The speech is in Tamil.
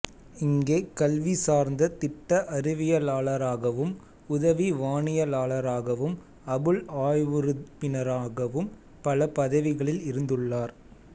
இங்கே கல்விசார்ந்த திட்ட அறிவியலாளராகவும் உதவி வானியலாளராகவும் அபுள் ஆய்வுறுப்பினராகவும் பல பதவிகளில் இருந்துள்ளார்